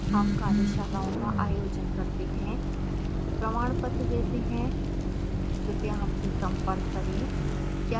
हम कार्यशालाओं का आयोजन करते हैं प्रमाणपत्र देते हैं कृपया हमसे संपर्क करें